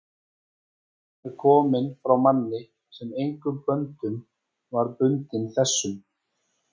og hún er komin frá manni, sem engum böndum var bundinn þessum